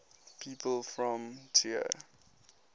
people from trier